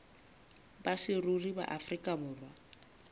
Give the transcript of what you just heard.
ba saruri ba afrika borwa